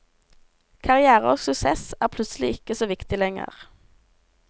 Karrière og suksess er plutselig ikke så viktig lenger.